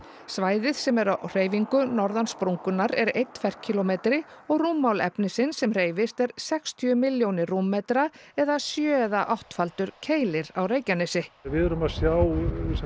svæðið sem er á hreyfingu norðan sprungunnar er einn ferkílómetri og rúmmál efnisins sem hreyfist er sextíu milljónir rúmmetra eða sjö eða áttfaldur Keilir á Reykjanesi við erum að sjá